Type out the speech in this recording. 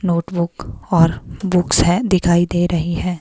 Notebook और books हैं दिखाई दे रही हैं।